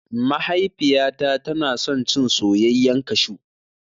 Mahaifiyata tana son cin soyayyan kashu